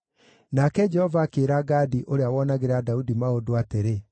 Nake Jehova akĩĩra Gadi ũrĩa woonagĩra Daudi maũndũ atĩrĩ,